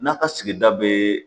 N'a ka sigida bɛɛ